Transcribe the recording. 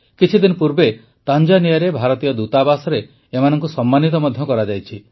କିଛିଦିନ ପୂର୍ବେ ତାଞ୍ଜାନିଆରେ ଭାରତୀୟ ଦୂତାବାସରେ ଏମାନଙ୍କୁ ସମ୍ମାନିତ ମଧ୍ୟ କରାଯାଇଛି